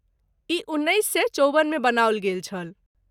ई उन्नैस सए चौबन मे बनाओल गेल छल।